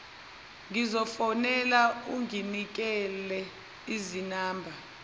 ngizomfonela unginikile izinamba